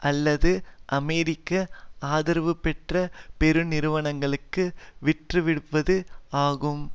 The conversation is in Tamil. அல்லது அமெரிக்க ஆதரவுபெற்ற பெருநிறுவனங்களுக்கு விற்றுவிடுவது ஆகும்